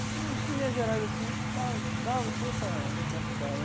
Não acho que em linhas gerais, assim, acho está dá deu para captar, né?